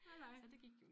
Nej nej